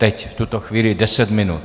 Teď, v tuto chvíli deset minut.